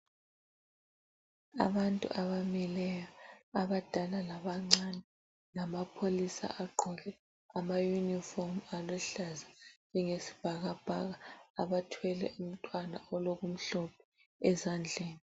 Abantu abamileyo abadala labancane lamapholisa agqoke amayunifomu aluhlaza njenge sibhakabhaka abathwele umntwana olokumhlophe ezandleni.